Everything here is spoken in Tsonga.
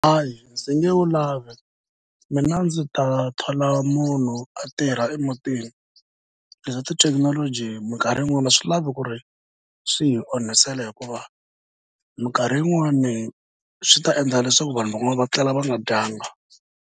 Hayi ndzi nge wu lavi mina ndzi ta thola munhu a tirha emutini. Leswa tithekinoloji minkarhi yin'wani a swi lavi ku ri swi hi onhisela hikuva minkarhi yin'wani swi ta endla leswaku vanhu van'wani va tlela va nga dyanga.